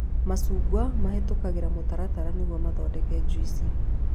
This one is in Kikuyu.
Macungwa mahĩtũkahĩra mũtaratara nĩguo mathondeke juici